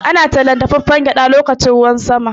Ana tallar dafaffen gyaɗa lokacin ruwan sama.